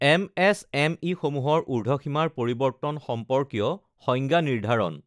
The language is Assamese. এমএছএমইসমূহৰ ঊৰ্ধসীমাৰ পৰিবৰ্তন সম্পৰ্কীয় সংজ্ঞা নিৰ্ধাৰণঃ